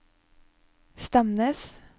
Stamnes